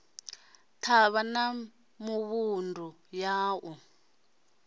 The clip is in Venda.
thavha na mivhundu ya ḽa